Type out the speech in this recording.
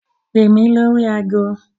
Pè mí lórí agọ.